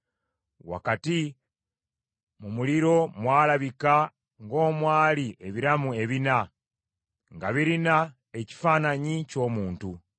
Wakati mu muliro mwalabika ng’omwali ebiramu ebina, nga birina ekifaananyi ky’omuntu.